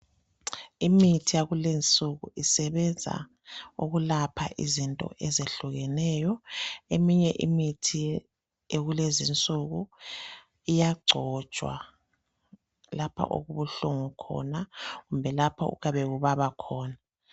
Imithi yakulezi nsuku isebenza ukulapha izinto izehlukeneyo, eminye imithi yakulezi nsuku iyagcotshwa lapha okubuhlungu khona kumbe lapho okuyabe kubaba khona.